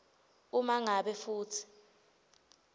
uma ngabe futsi